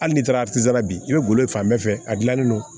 Hali n'i taara atisi la bi i bɛ golo fan bɛɛ fɛ a gilannen don